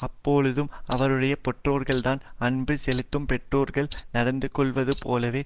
அப்பொழுதும் அவருடைய பெற்றோர்கள்தான் அன்பு செலுத்தும் பெற்றோர்கள் நடந்து கொள்ளுவதுபோலவே